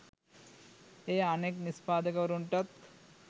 එය අනෙක් නිෂ්පාදකවරුන්ටත්